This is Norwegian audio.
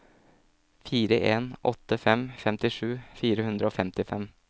fire en åtte fem femtisju fire hundre og femtifem